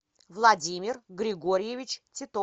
владимир григорьевич титов